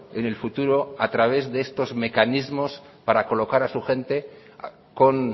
en el futuro a través de estos mecanismos para colocar a su gente con